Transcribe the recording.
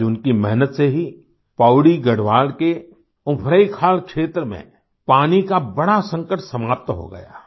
आज उनकी मेहनत से ही पौड़ी गढ़वाल के उफरैंखाल क्षेत्र में पानी का बड़ा संकट समाप्त हो गया है